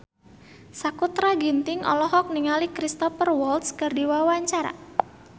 Sakutra Ginting olohok ningali Cristhoper Waltz keur diwawancara